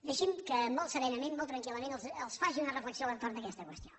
deixin me que molt serenament molt tranquil·lament els faci una reflexió a l’entorn d’aquesta qüestió